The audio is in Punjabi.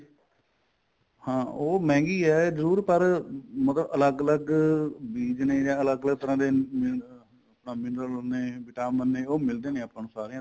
ਹਾਂ ਉਹ ਮਹਿੰਗੀ ਏ ਜਰੂਰ ਪਰ ਮਤਲਬ ਅਲੱਗ ਅਲੱਗ ਬੀਜ ਨੇ ਜਾਂ ਅਲੱਗ ਅਲੱਗ ਤਰ੍ਹਾਂ ਦੇ ਆ mineral ਹੁੰਦੇ ਨੇ vitamin ਨੇ ਉਹ ਮਿਲਦੇ ਨੇ ਸਾਰੀਆਂ ਤੋਂ